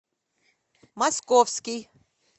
московский